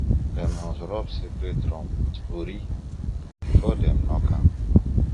dem must rub sacred drum with ori before dem knock am